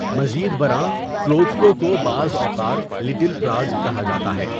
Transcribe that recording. مزید برآں، کلودزکو کو بعض اوقات 'لٹل پراگ' کہا جاتا ہے۔